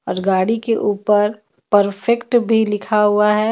और गाड़ी के ऊपर परफेक्ट भी लिखा हुआ है.